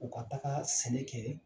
U ka taga sɛnɛ kɛ